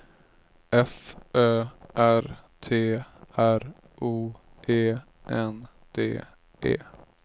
F Ö R T R O E N D E